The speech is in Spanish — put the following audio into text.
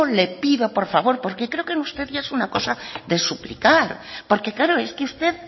le pido por favor porque creo que en usted ya es una cosa de suplicar porque claro es que usted